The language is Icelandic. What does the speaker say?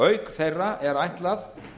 auk þeirra er ætlað